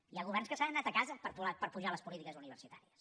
hi ha governs que se n’han anat a casa per apujar les polítiques universitàries